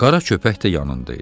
Qara köpək də yanında idi.